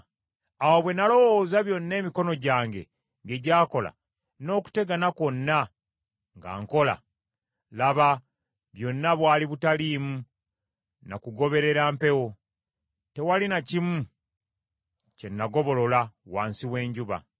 Awo bwe nalowooza byonna emikono gyange bye gyakola, n’okutegana kwonna nga nkola, laba, byonna bwali butaliimu na kugoberera mpewo, tewaali na kimu kye nagobolola wansi w’enjuba.